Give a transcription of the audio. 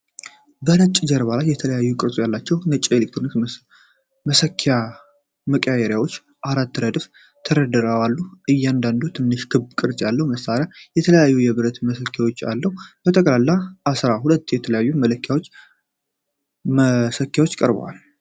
በነጭ ጀርባ ላይ የተለያዩ ቅርጾች ያላቸው ነጭ ኤሌክትሪክ መሰኪያ መቀየሪያዎች በአራት ረድፍ ተደርድረው አሉ። እያንዳንዱ ትንሽ ክብ ቅርጽ ያለው መሳሪያ የተለያየ የብረት መሰኪያ አለው። ጠቅላላ አስራ ሁለት የተለያዩ መሰኪያዎች ቀርበዋል።